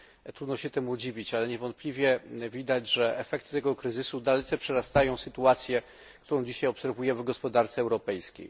Trudno się temu dziwić, ale niewątpliwie widać, że efekty tego kryzysu dalece przerastają sytuację, którą dzisiaj obserwujemy w gospodarce europejskiej.